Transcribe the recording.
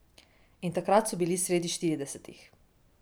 In takrat so bili sredi štiridesetih.